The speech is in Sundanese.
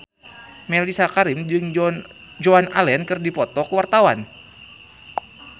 Mellisa Karim jeung Joan Allen keur dipoto ku wartawan